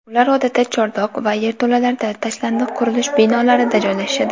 Ular odatda chordoq va yerto‘lalarda, tashlandiq qurilish binolarida joylashishadi.